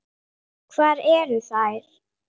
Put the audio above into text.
Hvar eru þær?